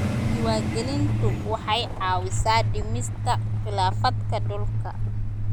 Diiwaangelintu waxay caawisaa dhimista khilaafaadka dhulka.